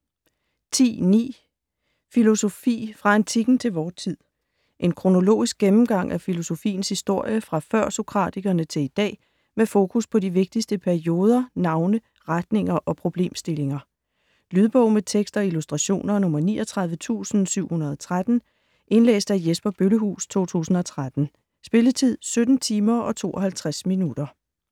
10.9 Filosofi - fra antikken til vor tid En kronologisk gennemgang af filosofiens historie fra før-sokratikerne til i dag, med fokus på de vigtigste perioder, navne, retninger og problemstillinger. Lydbog med tekst og illustrationer 39713 Indlæst af Jesper Bøllehuus, 2013. Spilletid: 17 timer, 52 minutter.